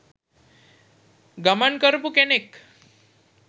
ගමන් කරපු කෙනෙක්.